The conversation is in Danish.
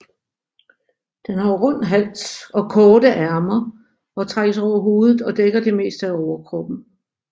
Den har rund hals og korte ærmer og trækkes over hovedet og dækker det meste af overkroppen